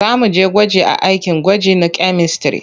Za mu je gwaji a akin gwaji na kyamistare.